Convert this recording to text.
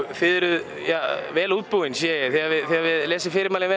þið eruð vel útbúin þið hafið lesið fyrirmælin vel